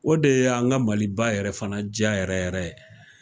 O de y' an ka maliba yɛrɛ fana diya yɛrɛ yɛrɛ ye